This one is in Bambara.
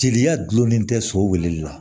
Jeliya gulonnen tɛ so wulili la